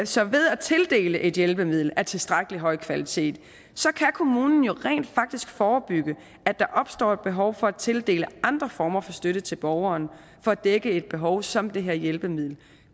så ved at tildele et hjælpemiddel af tilstrækkelig høj kvalitet kan kommunen jo rent faktisk forebygge at der opstår et behov for at tildele andre former for støtte til borgeren for at dække et behov som det her hjælpemiddel